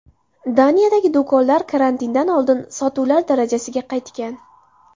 Daniyadagi do‘konlar karantindan oldingi sotuvlar darajasiga qaytgan.